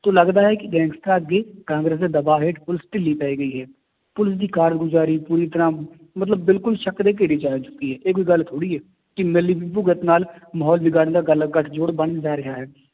ਤੋਂ ਲੱਗਦਾ ਹੈ ਕਿ ਗੈਗਸਟਰਾਂ ਅੱਗੇ ਕਾਂਗਰਸ ਦੇ ਦਬਾਅ ਹੇਠ ਪੁਲਿਸ ਢਿੱਲੀ ਪੈ ਗਈ ਹੈ, ਪੁਲਿਸ ਦੀ ਕਾਰਗੁਜ਼ਾਰੀ ਪੂਰੀ ਤਰ੍ਹਾਂ ਮਤਲਬ ਬਿਲਕੁਲ ਸ਼ੱਕ ਦੇ ਘੇਰੇ ਚ ਆ ਚੁੱਕੀ ਹੈ ਇਹ ਕੋਈ ਗੱਲ ਥੋੜ੍ਹੀ ਹੈ, ਕਿ ਮਿਲੀ ਭੁਗਤ ਨਾਲ ਮਾਹੌਲ ਵਿਗਾੜਨ ਦਾ ਗੱਲ ਗੱਠ ਜੋੜ ਬਣਨ ਜਾ ਰਿਹਾ ਹੈ